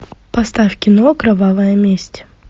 поставь кино кровавая месть